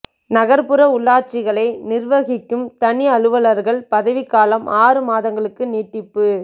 நகா்ப்புற உள்ளாட்சிகளை நிா்வகிக்கும் தனி அலுவலா்கள் பதவிக் காலம் ஆறு மாதங்களுக்கு நீட்டிப்பு